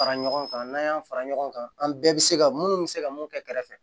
Fara ɲɔgɔn kan n'an y'an fara ɲɔgɔn kan an bɛɛ bɛ se ka minnu bɛ se ka mun kɛ kɛrɛfɛ